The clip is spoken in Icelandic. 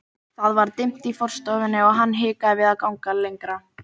Það var dimmt í forstofunni og hann hikaði við að ganga lengra.